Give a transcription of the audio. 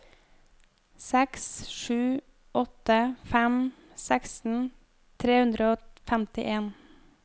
seks sju åtte fem seksten tre hundre og femtien